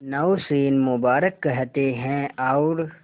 नौशीन मुबारक कहते हैं और